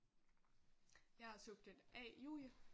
Jeg er subjekt A Julie